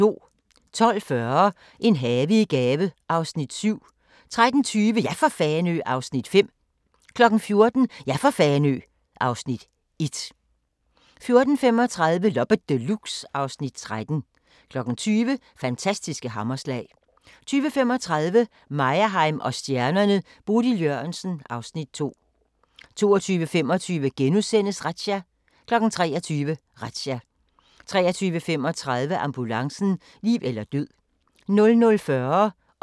12:40: En have i gave (Afs. 7) 13:20: Ja for Fanø! (Afs. 5) 14:00: Ja for Fanø! (Afs. 1) 14:35: Loppe Deluxe (Afs. 13) 20:00: Fantastiske hammerslag 20:35: Meyerheim & stjernerne: Bodil Jørgensen (Afs. 2) 22:25: Razzia * 23:00: Razzia 23:35: Ambulancen - liv eller død 00:40: Grænsepatruljen